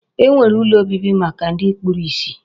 E nwere ụlọ obibi maka ndị kpuru isi.